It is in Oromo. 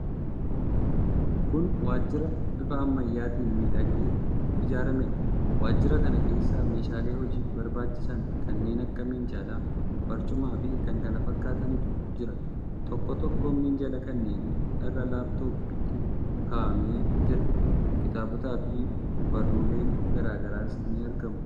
Kun waajjira bifa ammayyaatiin miidhagee ijaarameedha. Waajjira kana keessa meeshaalee hojiif barbaachisan kanneen akka minjaala, barcumaafi kan kana fakkaatanitu jira. Tokkoo tokkoo minjaala kanneenii irra laap-tooppiitu kaa'amee jira. Kitaabotaafi barruuleen garaa garaas ni argamu.